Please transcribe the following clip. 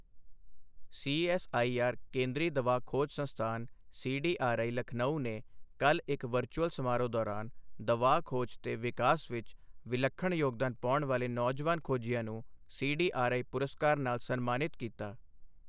CSIR ਕੇਂਦਰੀ ਦਵਾ ਖੋਜ ਸੰਸਥਾਨ ਸੀਡੀਆਰਆਈ, ਲਖਨਊ ਨੇ ਕੱਲ੍ਹ ਇੱਕ ਵਰਚੁਅਲ ਸਮਾਰੋਹ ਦੌਰਾਨ ਦਵਾ ਖੋਜ ਤੇ ਵਿਕਾਸ ਵਿੱਚ ਵਿਲੱਖਣ ਯੋਗਦਾਨ ਪਾਉਣ ਵਾਲੇ ਨੌਜਵਾਨ ਖੋਜੀਆਂ ਨੂੰ ਸੀਡੀਆਰਆਈ ਪੁਰਸਕਾਰ ਨਾਲ ਸਨਮਾਨਿਤ ਕੀਤਾ।